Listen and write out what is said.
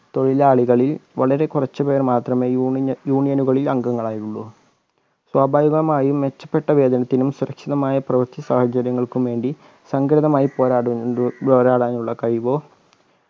തൊഴിലാളികളിൽ വളരെ കുറച്ച് പേർ മാത്രമെ union union നുകളിൽ അംഗങ്ങളായിയുള്ളു സ്വാഭാവികമായി മെച്ചപ്പെട്ട വേതനത്തിനും സുരക്ഷിതമായ പ്രവർത്തി സാഹചര്യങ്ങൾക്കും വേണ്ടി സംഘടിതമായി പോരാടുന്നതി പോരാടാനുള്ള കഴിവോ